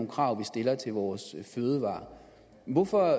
krav vi stiller til vores fødevarer hvorfor